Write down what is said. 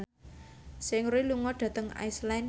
Seungri lunga dhateng Iceland